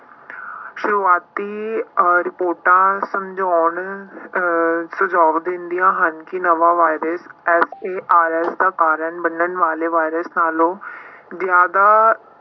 ਸ਼ੁਰੂਆਤੀ ਅਹ ਰਿਪੋਰਟਾਂ ਸਮਝਾਉਣ ਅਹ ਸੁਝਾਓ ਦਿੰਦੀਆਂ ਹਨ ਕਿ ਨਵਾਂ ਵਾਇਰਸ SARS ਦਾ ਕਾਰਨ ਮੰਨਣ ਵਾਲੇ ਵਾਇਰਸ ਨਾਲੋਂ ਜ਼ਿਆਦਾ